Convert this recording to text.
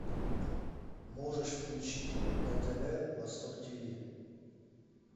можешь включить на тв восток тиви